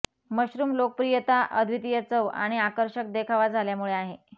mushroom लोकप्रियता अद्वितीय चव आणि आकर्षक देखावा झाल्यामुळे आहे